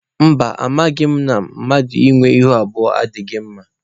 Mba, amaghị m na mmadụ ịnwe ihu abụọ adịghị mma.